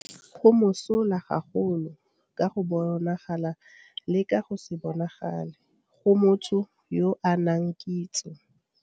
Go mosola gagolo, ka go bonagala le ka go se bonagale, go motho yo a nang kitso.